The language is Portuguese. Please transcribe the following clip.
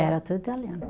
Era tudo italiano.